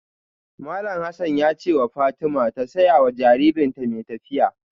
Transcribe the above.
Malam Hassan ya ce wa Fatima ta saya wa jaririnta mai tafiya.